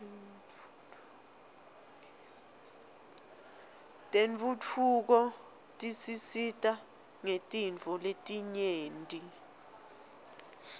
tentfutfuko tisisita ngetintfo letinyenti